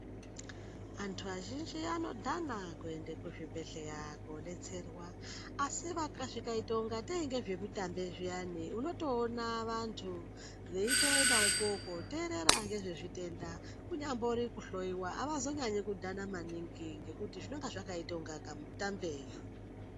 Antu azhinji anodhana kuende kuzvibhedhleya koodetserwa, asi zvikaite ungatei ngezvemitambe zviyani, unotoona vantu veitoendawopo kooteerera ngezvezvitenda, kunyambori kuhloiwa ,avazonyanyi kudhana maningi ,ngekuti zvinonga zvakaite unga kamutambe.